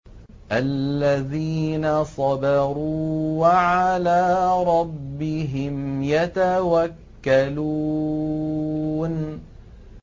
الَّذِينَ صَبَرُوا وَعَلَىٰ رَبِّهِمْ يَتَوَكَّلُونَ